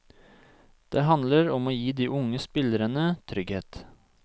Det handler om å gi de unge spillerne trygghet.